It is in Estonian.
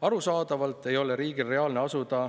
Arusaadavalt ei ole riigil reaalne asuda